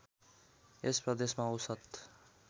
यस प्रदेशमा औषत